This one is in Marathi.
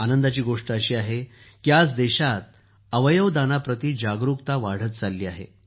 आनंदाची बाब ही आहे की आज देशात अवयव दान याप्रती जागरूकता वाढत चालली आहे